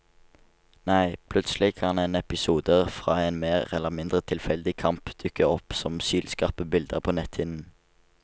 Nei, plutselig kan en episode fra en mer eller mindre tilfeldig kamp dukke opp som sylskarpe bilder på netthinnen.